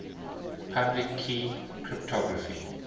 public key cryptography